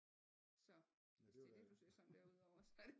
Så hvis det er det du ser sådan der ud over så det